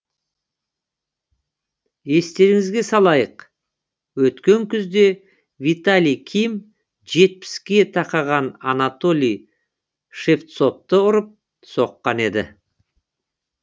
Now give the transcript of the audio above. естеріңізге салайық өткен күзде виталий ким жетпіске тақаған анатолий шевцовты ұрып соққан еді